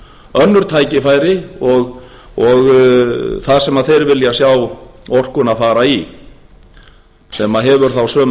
önnur tækifæri þar sem þeir vilja sjá orkuna fara í sem hefur þá sömu afleiðingar